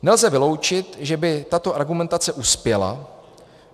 Nelze vyloučit, že by tato argumentace uspěla.